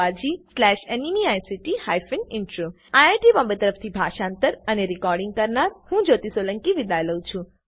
IIT Bombay તરફથી હું જ્યોતી સોલંકી વિદાય લઉં છું